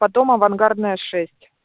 потом авангардная шесть